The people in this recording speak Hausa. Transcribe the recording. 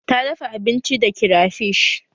Ta dafa abinci da kirafish